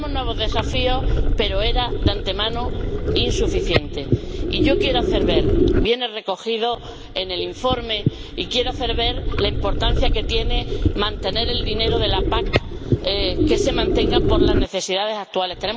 Tenemos nuevos desafíos, pero era de antemano insuficiente, y yo quiero hacer ver —viene recogido en el informe— la importancia que tiene mantener el dinero de la PAC, que se mantenga por las necesidades actuales.